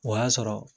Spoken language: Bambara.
O y'a sɔrɔ